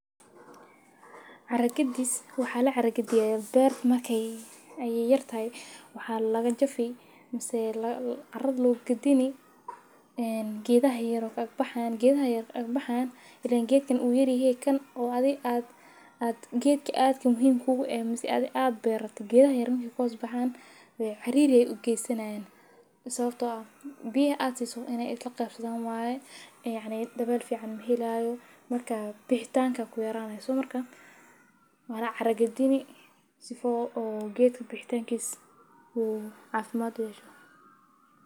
Caara gidiiis waxaa la caragadiyay Beer Markay iyo Yartey. Waxaan laga jefey mise carad luugu gudini geedahay yar ag baxaan, geedahay yar ag baxaan. Ileen geedkan u yaryihi kan oo aadi aad aad geedka aadka muhiim kuugu ah mas'iis aad i aad beerato. Geedahay yar koobas baxaan ree xiriir u geysanayn. Isagoo biye aad si so inay ilaa ka fududeen waaye ee dabal fiican muuhi laayo marka bixitaanka ku yeeraan. Isu marka waa caragadini si fuu oo geedkan bixitaankii u caafimaad ayu yesho.